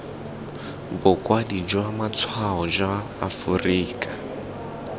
bokwadi jwa matshwao jwa aforika